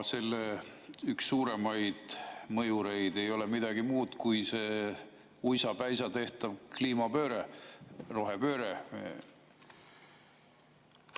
Selle üks suuremaid mõjureid ei ole midagi muud kui see uisapäisa tehtav kliimapööre, rohepööre.